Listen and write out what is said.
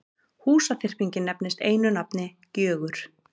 Húsaþyrpingin nefnist einu nafni Gjögur.